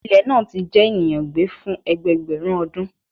Ilẹ naa ti jẹ eniyan gbe fun ẹgbẹẹgbẹrun ọdun